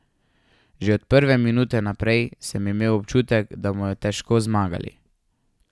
Že od prve minute naprej sem imel občutek, da bomo težko zmagali.